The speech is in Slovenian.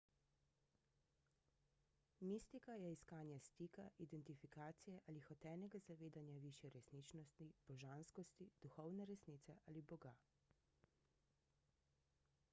mistika je iskanje stika identifikacije ali hotenega zavedanja višje resničnosti božanskosti duhovne resnice ali boga